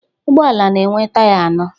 Ụgbọala na-enwe taya anọ